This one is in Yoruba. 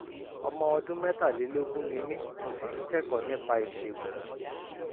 ọmọ ọdún mẹ́tàlélógún ni mí mo sì ń kẹ́kọ̀ọ́ nípa ìṣègùn